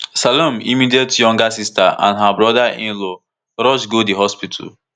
salome immediate younger sister and her brother inlaw rush go di hospital